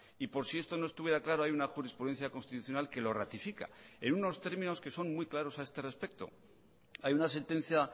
y por si esto no estuviera claro hay una jurisprudencia constitucional que lo ratifica en unos términos que son muy claros a este respecto hay una sentencia